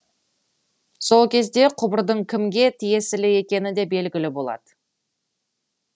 сол кезде құбырдың кімге тиесілі екені де белгілі болады